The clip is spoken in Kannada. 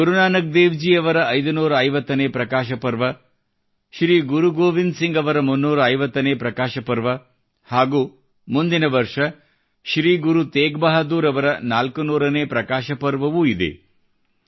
ಗುರುನಾನಕ್ ದೇವ್ ಜಿ ಅವರ 550 ನೇ ಪ್ರಕಾಶ ಪರ್ವ ಶ್ರೀ ಗುರು ಗೋವಿಂದ್ ಸಿಂಗ್ ಅವರ 350 ನೇ ಪ್ರಕಾಶ ಪರ್ವ ಮುಂದಿನ ವರ್ಷ ಶ್ರೀ ಗುರು ತೇಗ್ ಬಹಾದ್ದೂರ್ ಅವರ 400 ನೇ ಪ್ರಕಾಶ ಪರ್ವವೂ ಇದೆ